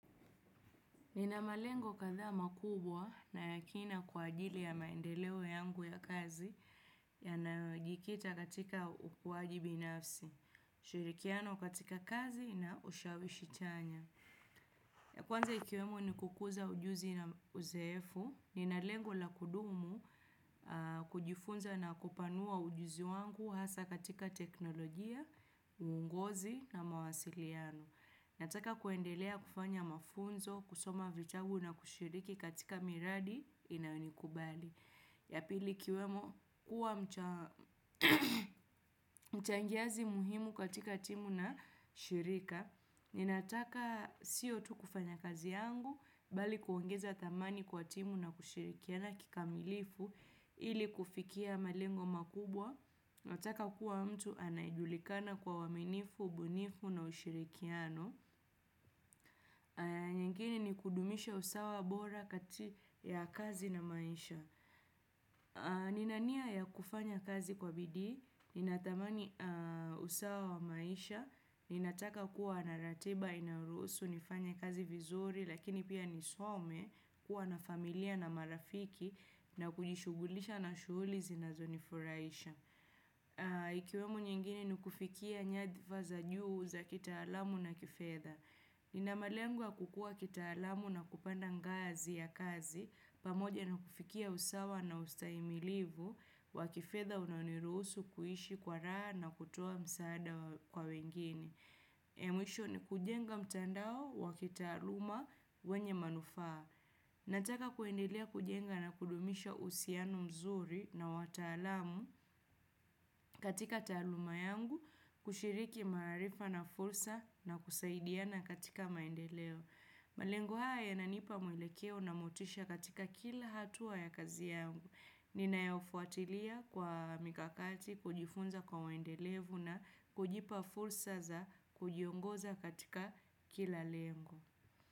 Ninamalengo kadhaa makubwa na ya kina kwa ajili ya maendeleo yangu ya kazi ya nayojikita katika ukuaji binafsi. Shurikiano katika kazi na ushawishi chanya. Ya kwanza ikiwemo ni kukuza ujuzi na uzoefu. Ninalengo la kudumu kujifunza na kupanua ujuzi wangu hasa katika teknolojia, uongozi na mawasiliano. Nataka kuendelea kufanya mafunzo, kusoma vitabu na kushiriki katika miradi inayonikubali. Yapili ikiwemo kuwa mchangiazi muhimu katika timu na shirika. Ninataka siyo tu kufanya kazi yangu bali kuongeza thamani kwa timu na kushirikiana kika milifu ili kufikia malengo makubwa. Nataka kuwa mtu anayejulikana kwa uwaminifu, ubunifu na ushirikiano. Mengine ni kudumisha usawa bora kati ya kazi na maisha. Nina nia ya kufanya kazi kwa bidii. Ninatamani usawa wa maisha. Ninataka kuwa narateba, inayoruhusu, nifanye kazi vizuri, lakini pia nisome kuwa na familia na marafiki na kujishugulisha na shughulizi na zonifurahisha. Ikiwemo nyingine ni kufikia nyadhifaza juu za kita alamu na kifedha. Ninamalengwa kukua kita alamu na kupanda ngazi ya kazi, pamoja na kufikia usawa na ustaimilivu, wakifedha unaonirusu kuishi kwa raha na kutoa msaada kwa wengine. Ya mwisho ni kujenga mtandao wa kita aluma wenye manufaa. Nataka kuendelea kujenga na kudumisha uhusiano mzuri na watalamu katika taluma yangu, kushiriki maarifa na fursa na kusaidiana katika maendeleo. Malengo haya yananipa mwelekeo na motisha katika kila hatua ya kazi yangu. Ninayofuatilia kwa mikakati, kujifunza kwa waendelevu na kujipa fursa za kujiongoza katika kila lengo.